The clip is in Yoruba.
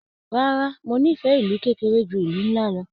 Rárá, mo n'ifẹ ìlú kékeré jù ìlú nlá lọ.